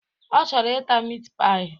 Ọ chọrọ ịta mit paị